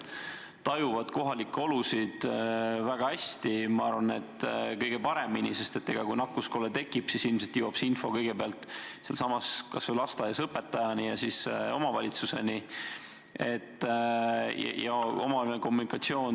Nad tajuvad kohalikke olusid väga hästi – ma arvan, et kõige paremini, sest kui nakkuskolle tekib, siis ilmselt jõuab see info näiteks lasteaias kõigepealt õpetajani ja siis omavalitsuseni.